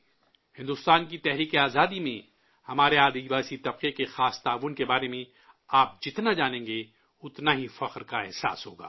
بھارت کی جدوجہد آزادی میں ہماری آدیواسی برادری کے مخصوص تعاون کے بارے میں آپ جتنا جانیں گے، اتنے ہی فخر کا احساس ہوگا